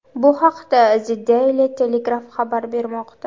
Bu haqda The Daily Telegraph xabar bermoqda .